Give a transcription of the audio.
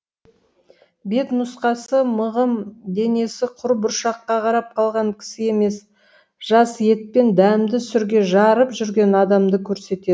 бет нұсқасы мығым денесі құр бұршаққа қарап қалған кісі емес жас ет пен дәмді сүрге жарып жүрген адамды көрсетеді